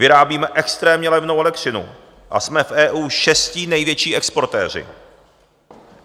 Vyrábíme extrémně levnou elektřinu a jsme v EU šestí největší exportéři.